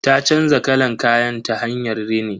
Ta canza kalan kayan ta hanyar rini.